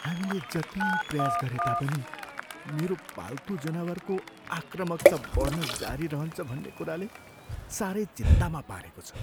हामीले जति प्रयास गरे तापनि मेरो पाल्तु जनावरको आक्रामकता बढ्न जारी रहन्छ भन्ने कुराले साह्रै चिन्तामा पारेको छ।